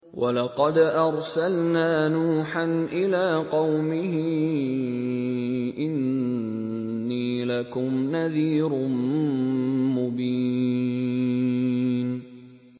وَلَقَدْ أَرْسَلْنَا نُوحًا إِلَىٰ قَوْمِهِ إِنِّي لَكُمْ نَذِيرٌ مُّبِينٌ